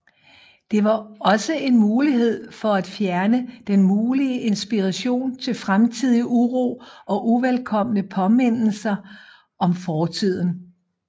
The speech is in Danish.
Det var også en mulighed for at fjerne den mulige inspiration til fremtidig uro og uvelkomne påmindelser om fortiden